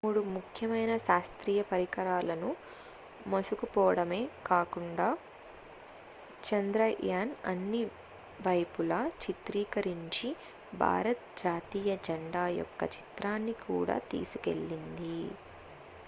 మూడు ముఖ్యమైన శాస్త్రీయ పరికరాలను మోసుకుపోడమే కాకుండా చంద్రయాన్ అన్ని వైపుల చిత్రీకరించిన భారత జాతీయ జెండా యొక్క చిత్రాన్ని కూడా తీసుకెళ్లింది